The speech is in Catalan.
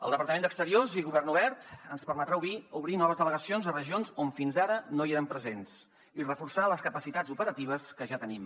el departament d’acció exterior i govern obert ens permetrà obrir noves delegacions a regions on fins ara no érem presents i reforçar les capacitats operatives que ja tenim